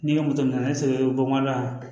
N'i ye moto minɛ ne sɔrɔ bɔnɛ la